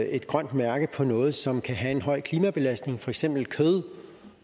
et grønt mærke på noget som kan have en høj klimabelastning for eksempel kød